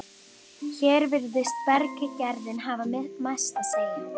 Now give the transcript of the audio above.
Hér virðist berggerðin hafa mest að segja.